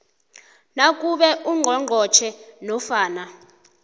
nakube ungqongqotjhe nofana